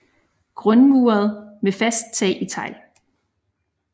Grundmuret med fast tag i tegl